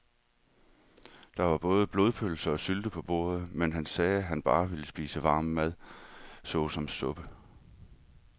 Der var både blodpølse og sylte på bordet, men han sagde, at han bare ville spise varm mad såsom suppe.